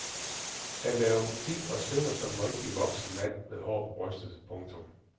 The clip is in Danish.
Han laver musik og synger som en rigtig voksen mand med hår på brystet. punktum